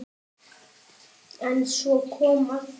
En svo kom að því.